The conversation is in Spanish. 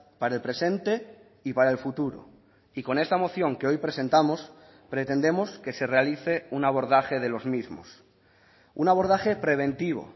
para el presente y para el futuro y con esta moción que hoy presentamos pretendemos que se realice un abordaje de los mismos un abordaje preventivo